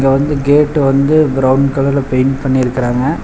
வந்து கேட்டு வந்து பிரவுன் கலர்ல பெயிண்ட் பண்ணிருக்குறாங்க.